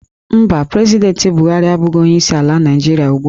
Mba, President Buhari abụghị onye isi ala Nigeria ugbu a